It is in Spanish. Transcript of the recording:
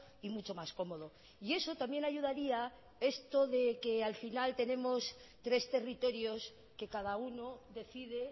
y mucho más cómodo y eso también ayudaría esto de que al final tenemos tres territorios que cada uno decide